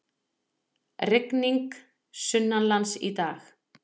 Rigning sunnanlands í dag